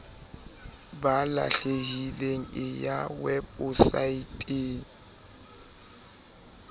ba lahlehileng e ya weposaeteng